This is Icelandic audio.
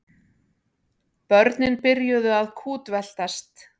Börnin byrjuðu að kútveltast.